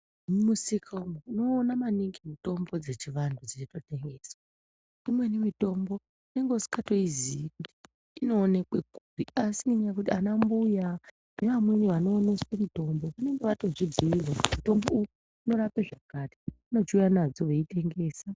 Mumusika umwo unoona maningi mitombo dzechivantu dzeitotengeswa imweni mitombo unenge usingatoiziya kuti inoonekwe kupi asi ngekuti ana mbuya nevamweni vanooneswa mitombo vanenge vatodzibhiirwa kuti mutombo uyu unorape zvakati vanochiuya nawo veitengesa.